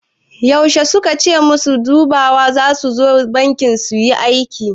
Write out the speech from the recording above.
Yaushe suka ce masu dubawa zasu zo banki suyi aiki?